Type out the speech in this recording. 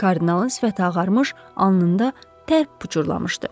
Kardinalın sifəti ağarmış, alnında tər pıçurlamışdı.